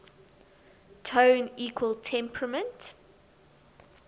tone equal temperament